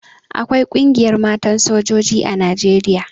Akwai Ƙungiyar Matan Sojoji a Nijeriya.